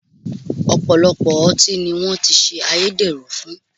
Ọ̀pọ̀lọpọ̀ ọtí ni wọ́n ti ṣe ayédèrú fún